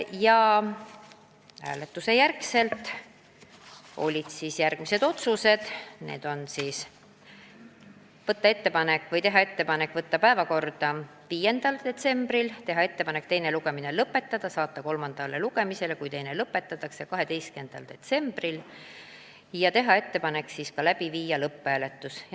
Pärast hääletust langetasime järgmised otsused: teha ettepanek võtta eelnõu 5. detsembri istungi päevakorda, teha ettepanek teine lugemine lõpetada ja saata eelnõu kolmandale lugemisele, kui teine lugemine lõpetatakse, 12. detsembriks ja siis läbi viia lõpphääletus.